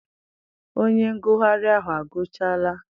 Onye ngụgharị ahụ agụchala?